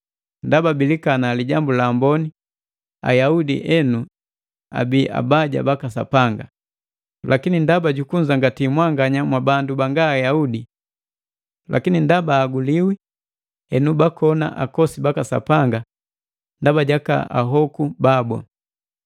Ndaba bilikana Lijambu la Amboni, Ayaudi enu abii abaja baka Sapanga, lakini ndaba jukunzangati mwanga mwabandu banga Ayaudi. Lakini ndaba ahaguliwi, henu bakona akosi baka Sapanga ndaba jaka ahuko babu.